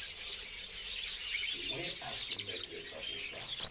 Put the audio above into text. we a sumbedzesa u sa